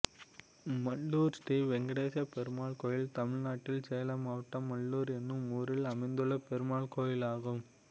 மல்லூர் ஸ்ரீ வெங்கடேச பெருமாள் கோயில் தமிழ்நாட்டில் சேலம் மாவட்டம் மல்லூர் என்னும் ஊரில் அமைந்துள்ள பெருமாள் கோயிலாகும்